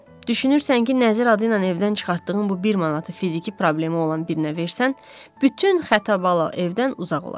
Düşünürsən ki, nəzir adı ilə evdən çıxartdığın bu bir manatı fiziki problemi olan birinə versən, bütün xətabala evdən uzaq olar.